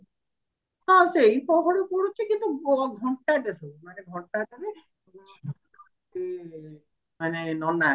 ହଁ ସେଇ ପହଡ ପଡୁଛି କିନ୍ତୁ ଘଣ୍ଟାଟେ ସେ ମାନେ ଘଣ୍ଟାକରେ ମାନେ ନନା